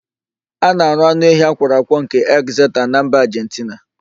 A na-arụ anụ ehi akwọrọ akwọ nke ekzeta na mba Ajentina.